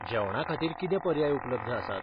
जेवणाखातीर कितें पर्याय उपलब्ध आसात?